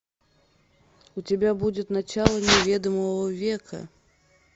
у тебя будет начало неведомого века